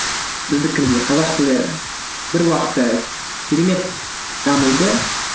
біздікіндей қазақ тілі бір уақытта керемет дамиды